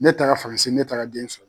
Ne taara faransi ne taara den sɔrɔ.